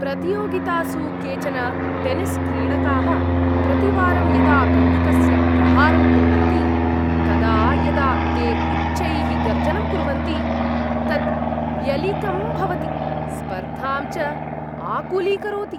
प्रतियोगितासु केचन टेनिस्क्रीडकाः प्रतिवारं यदा कन्दुकस्य प्रहारं कुर्वन्ति, तदा यदा ते उच्चैः गर्जनं कुर्वन्ति तत् व्यलीकं भवति, स्पर्धां च आकुलीकरोति।